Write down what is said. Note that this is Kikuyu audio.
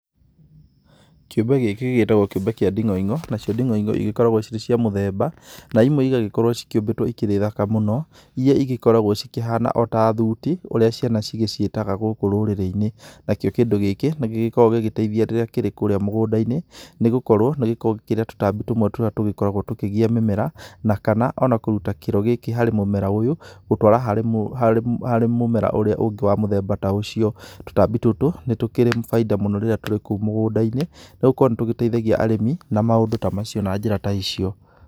Kĩũmbe gĩkĩ gĩgĩtagwo kĩũmbe kĩa nding'oing'o nacio nding'oing'o cigĩkoragwo cirĩ cia mũthemba, na imwe cigagĩkorwo cikĩumbĩtwo cikĩrĩ thaka mũno, ĩria cigĩkoragwo cikĩhana ota thuti ũrĩa ciana cigĩciĩtaga gũkũ rũrĩrĩ-inĩ. Na kio kĩndũ gĩkĩ nĩgĩgĩkoragwo gĩgĩteithia rĩrĩa kĩrĩ kũrĩa mũgũnda-inĩ , nĩ gũkorwo nĩ gĩkoragwo gĩkĩrĩa tũtambi tũmwe tũrĩa tũgĩkoragwo tũkĩgia mĩmera. Na kana ona kũruta kiro gĩkĩ harĩ mũmera ũyũ gũtwara harĩ mumera ũrĩa ũngĩ wa mũthemba ta ũcio. Tũtambi tũtũ nĩ tũkĩrĩ bainda mũno rĩrĩa tũkĩrĩ kũu mũgũnda-inĩ nĩ gũkorwo nĩ tũgĩteithagia arĩmi na maũndũ ta macio na njĩra ta icio.